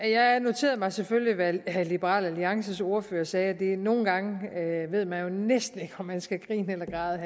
jeg noterede mig selvfølgelig hvad liberal alliances ordfører sagde nogen gange ved man jo næsten ikke om man skal grine eller græde